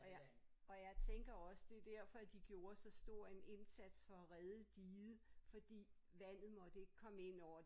Og jeg og jeg tænker også det derfor de gjorde så stor en indsats for at redde diget fordi vandet må ikke komme ind over